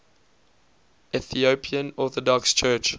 ethiopian orthodox church